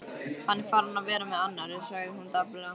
Hann er farinn að vera með annarri, sagði hún dapurlega.